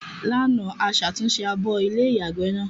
Lánàá, a ṣàtúnṣe abọ́ ilé-ìyàgbẹ́ náà.